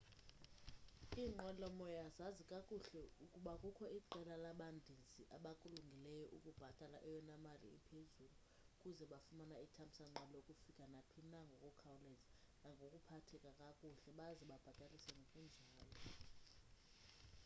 inqwelomoya zazi kakuhle ukuba kukho iqela labandizi abakulungeleyo ukubhatala eyona mali iphezulu ukuze bafumane ithamsanqa lokufika naphina ngokukhawuleza nangokuphatheka kakuhle baze bababhatalise ngokunjalo